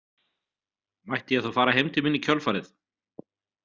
Mætti ég þá fara heim til mín í kjölfarið?